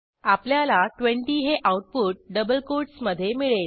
आपल्याला 20 हे output double कोटसमधे मिळेल